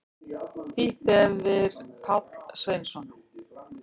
Þýtt hefir Páll Sveinsson.